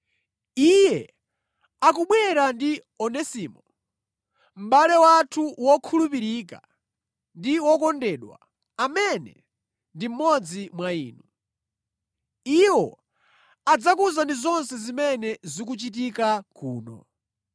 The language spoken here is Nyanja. Iye akubwera ndi Onesimo, mʼbale wathu wokhulupirika ndi wokondedwa, amene ndi mmodzi mwa inu. Iwo adzakuwuzani zonse zimene zikuchitika kuno.